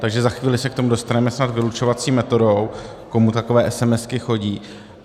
Takže za chvíli se k tomu dostaneme snad vylučovací metodou, komu takové esemesky chodí.